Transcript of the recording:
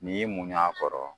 N'i y'i muɲu a kɔrɔ